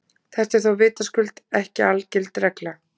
Þetta er þó vitaskuld ekki algild regla.